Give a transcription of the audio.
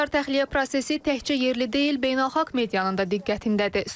Humanitar təxliyə prosesi təkcə yerli deyil, beynəlxalq medianın da diqqətindədir.